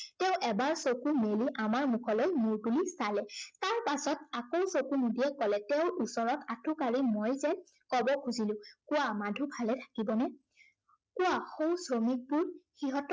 তেওঁ এবাৰ চকু মেলি আমাৰ মুখলৈ মূৰ তুলি চালে। তাৰ পাছত আকৌ চকু মুদিয়েই কলে, তেওঁৰ ওচৰত আঁঠু কাড়ি মই যেন কব খুজিলো, কোৱা মাধু ভালে থাকিবনে? কোৱা সৌ শ্ৰমিকবোৰ সিহঁতে